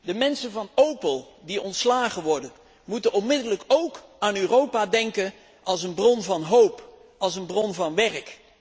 De mensen van Opel die ontslagen worden, moeten onmiddellijk ook aan Europa denken als een bron van hoop, als een bron van werk.